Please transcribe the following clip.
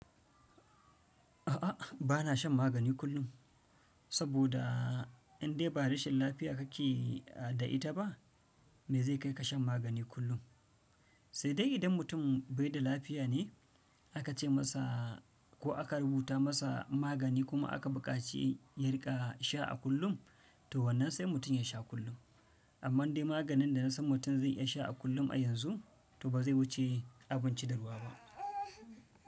A'a, bana shan magani kullum. Saboda in dai ba rashin lafiya kake yi da ita ba, me zai kai ka shan magani kullum? Sai dai idan mutum bai da lafiya ne aka ce masa ko aka rubuta masa magani kuma aka buƙaci ya riƙa sha a kullum, to wannan sai mutum ya sha kullum. Amma dai maganin da na san mutum zai iya sha a kullum a yanzu, to ba zai wuce abinci da ruwa ba.